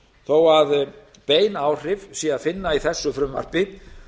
þó að bein áhrif sé að finna í þessu frumvarpi